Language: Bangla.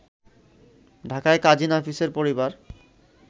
ঢাকায় কাজি নাফিসের পরিবার